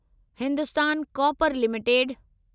Hindustan Copper limited